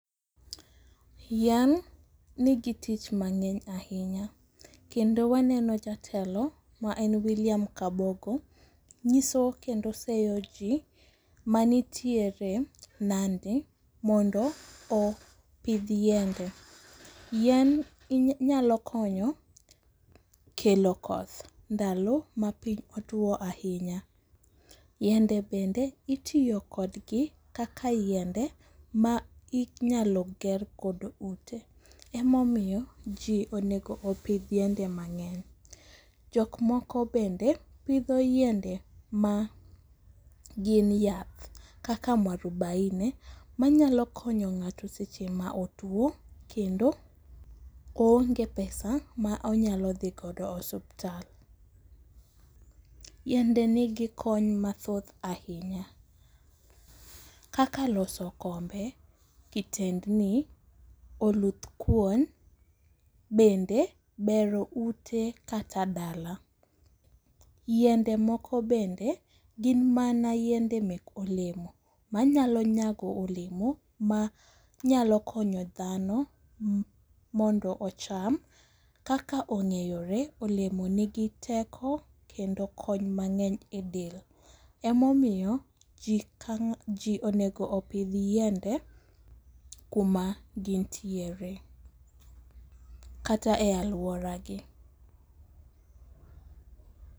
Yien nigi tich mang'eny ahinya kendo waneno jatelo ma en William Kabogo nyiso kendo seyo ji manitiere Nandi mondo opidh yiende. yien nyalo konyo kelo koth ndalo ma piny otuwo ahinya. yiende bende itiyo kodgi kaka yiende ma inyalo ger godo ute, emomiyo ji onego opidh yiende mang'eny. Jokmoko bende pidho yiende ma gin yath kaka mwarubaine manyalo konyo ng'ato seche ma otuwo, kendo oonge pesa ma onyalo dhi godo osuptal. Yiende nigi kony mathoth ahinya kaka loso kombe, kitendni, oluth kuon, bende bero ute kata dala. Yiende moko bende gin mana yiende mek olemo manyalo nyago olemo manyalo konyo dhano mondo ocham kaka ong'eyore, olemo nigi teko kendo kony mang'eny e del, emomiyo ji onego opidh yiende kuma gintiere. Kata e alworagi.